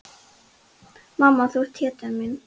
Mamma, þú ert hetjan mín.